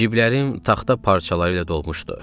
Ciblərim taxta parçalarıyla dolmuşdu.